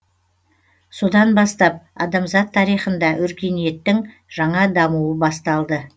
содан бастап адамзат тарихында өркениеттің жаңа дамуы басталды